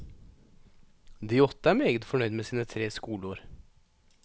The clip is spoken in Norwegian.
De åtte er meget fornøyd med sine tre skoleår.